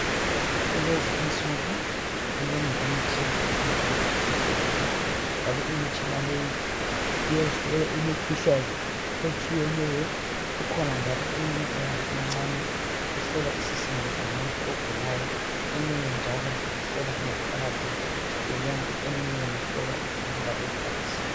kulezi insuku minengi imtshina esiyithola esibhedlela njalo imitshina leyi iyahlola imikhuhlane etshiyeneyo kukhona njalo eminye eyabe imincane ehlola isisindo somuntu ogulayo eminye njalo ihlala ingaphakathi yomuntu eminye ihlola ukuhamba kwegazi